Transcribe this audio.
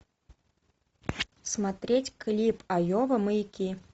смотреть клип айова маяки